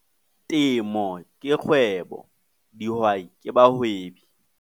Temo ke kgwebo, dihwai ke bahwebi